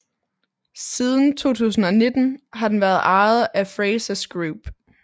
Siden 2019 har den været ejet af Frasers Group